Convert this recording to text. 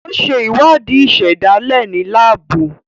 O ṣe ìwádìí ìsèdálè ní laabu.